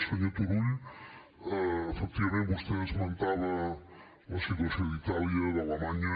senyor turull efectivament vostè esmentava la situació d’itàlia d’alemanya